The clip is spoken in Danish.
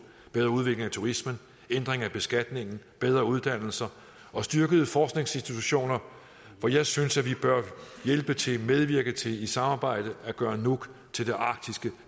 bedre udvikling af turismen ændring af beskatningen bedre uddannelser og styrkede forskningsinstitutioner hvor jeg synes vi bør medvirke til i samarbejde at gøre nuuk til det arktiske